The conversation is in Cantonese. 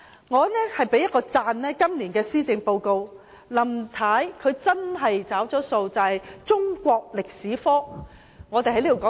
我讚賞今年的施政報告，林太真的"找數"了，給予中國歷史科"獨立門牌"。